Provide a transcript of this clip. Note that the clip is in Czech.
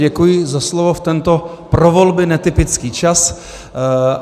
Děkuji za slovo v tento pro volby netypický čas.